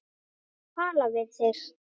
Tala við þig?